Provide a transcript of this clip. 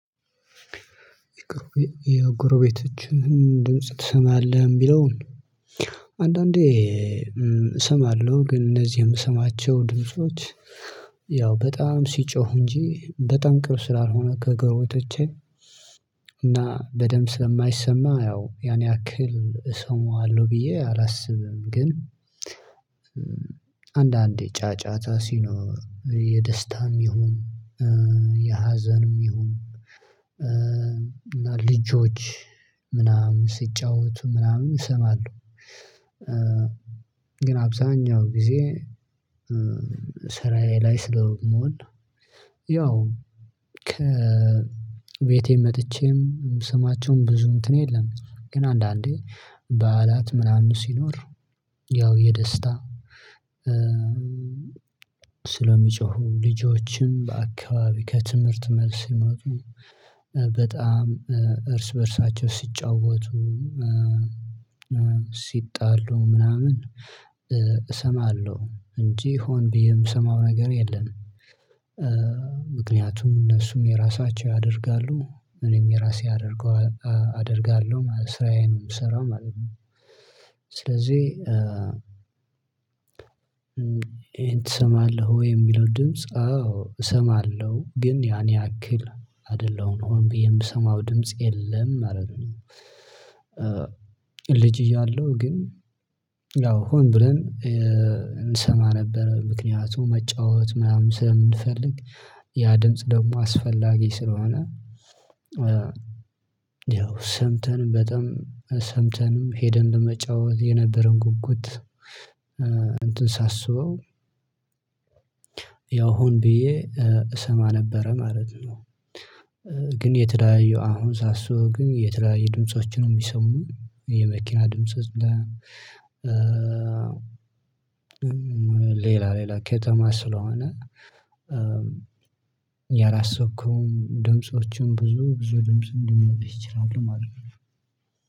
የጎረቤቶችን ድምጽ ትሰማለህ? የሚለውን አንዳንዴ እሰማለሁ። ግን እነዚህ የምሰማቸው ድምጾች ያው በጣም ሲጮሁ እንጂ በጣም ቅርብ ስላልሆነ ከጎረቤቶቼ እና በደምብ ስለማይሰማ ያው ያን ያክል እሰማዋለሁ ብዬ አላስብም። ግን አንዳንዴ ጫጫታ ሲኖ የደስታም ይሁን የሀዘንም ይሁን እና ልጆች ምናምን ሲጫወቱ ምናምን እሰማለሁ። ግን አብዛኛው ጊዜ ስራዬ ላይ ስለምውልን ያው ከቤቴም መጥቼም ስማቸውን ብዙ እንትን የለም። ግን አንዳንዴ በዓላት ምናምን ሲኖር ያው የደስታ ስለሚጮሁ ልጆችን በአካባቢ ከትምህርት መልስ ሲመጡ በጣም እርስ በእርሳቸው ሲጫወቱ ሲጣሉ ምናምን እሰማለሁ እንጂ ሆን ብዬ የምሰማው ነገር የለም። ምክንያቱም እነሱም የራሳቸው ያደርጋሉ እኔም የራሴ አደርገዋለሁ አደርጋለሁ ስራዬንም የምሰራው ማለት ነው። ስለዚህ ይሄን ትሰማለህ ወይ የሚለው ድምጽ? አዎ እሰማለሁ ግን ያን ያክል አይደለሁም ብዬ የምሰማው ድምጽ የለም። አይደለም። ልጅ እያለሁ ግን ያው ሁን ብለን እንሰማ ነበር። ምክንያቱም መጫወት ምናምን ስለምንፈልግ ያ ድምጽ ደግሞ አስፈላጊ ስለሆነ። ያው ሰምተን በጣም ሰምተንም ሄደን ለመጫወት የነበረውን ጉጉት እንትን ሳስበው ያው ሁን ብዬ እሰማ ነበረ ማለት ነው። ግን የተለያዩ አሁን ሳስበው ኝ የተለያዩ ድምፆችን ነው የሚሰሙኝ የመኪና ድምጾች። ሌላ ሌላ ከተማ ስለሆነ። ያላሰብከው እኮ ድምፆቹም ብዙ ብዙ ድምጽ እንዲመጡ ይችላሉ ማለት ነው።